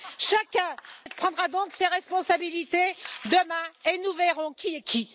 Chacun prendra donc ses responsabilités demain et nous verrons qui est qui.